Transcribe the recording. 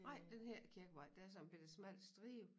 Nej den hedder ikke Kirkevej der sådan en bette smal stribe